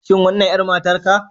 Shin wannan 'yar matarka